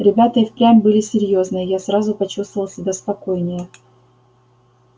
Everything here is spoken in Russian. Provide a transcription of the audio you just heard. ребята и впрямь были серьёзные я сразу почувствовал себя спокойнее